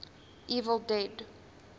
evil dead